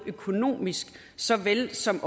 økonomisk såvel som